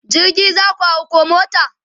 jirgi zaku hau koh mota?